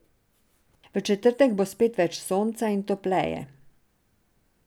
V četrtek bo spet več sonca in topleje.